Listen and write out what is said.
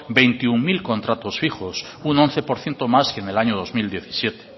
veintiuno mil contratos fijos un once por ciento más que en el año dos mil diecisiete